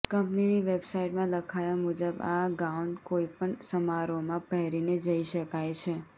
કંપનીની વેબસાઈટમાં લખાયા મુજબ આ ગાઉન કોઈપણ સમારોહમાં પહેરીને જઈ શકાય છે